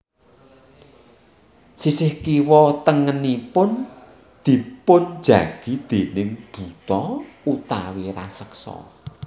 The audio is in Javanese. Sisih kiwa tengenipun dipunjagi déning buta utawi raseksa